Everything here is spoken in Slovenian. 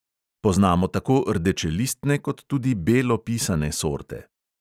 Poznamo tako rdečelistne kot tudi belo pisane sorte.